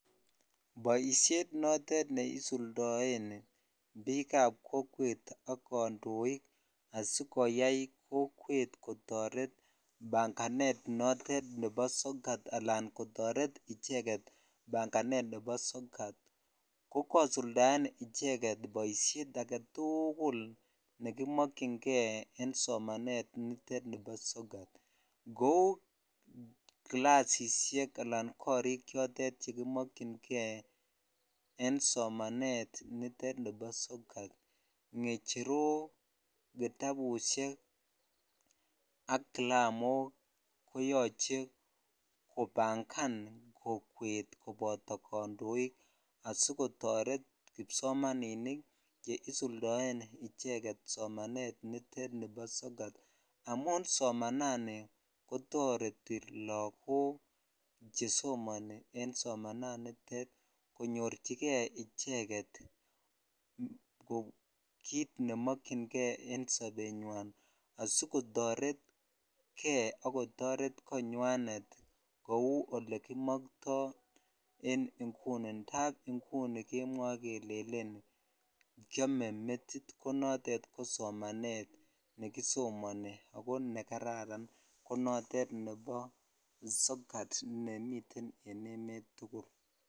Boishet notet neisuldoen biikab kokwet ak kondoik asikoyai kokwet kotoret banganet notet nebo sokat alaan kotoret icheket banganet nebo sookat ko kosuldaen icheket boishet aketukul nekimokyinge en somanet nitet nibo sokat kouu kilasishek anan korik chotet chekimokyinge en somanet nitet nibo sokat, ngecherok, kitabushek ak kilamok koyoche kobangan kokwet koboto kondoik asikotoret kipsomaninik cheisuldaen icheket somanet nitet nibo sokat amun somanani kotoreti lokok chesomoni en somananitet konyorchike icheket kiit nemokyinge en sonbenywan asikotoretke ak kotoret konywanet kouu olekimokto en inguni ndaab inguni kemwoe kelellen kiome metit ko notet ko somanet nekisomoni ak ko nekararan ko notet nebo sokat nemiten en emet tukul.